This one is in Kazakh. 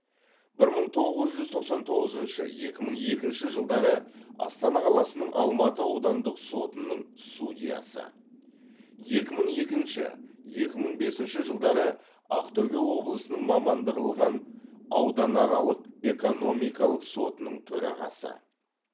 бір мың тоғыз жүз тоқсан тоғызыншы екі мың екінші жылдары астана қаласының алматы аудандық сотының судьясы екі мың екінші екі мың бесінші жылдары ақтөбе облысының мамандандырылған ауданаралық экономикалық сотының төрағасы